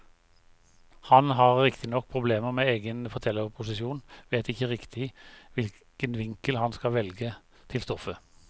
Han har riktignok problemer med egen fortellerposisjon, vet ikke riktig hvilken vinkel han skal velge til stoffet.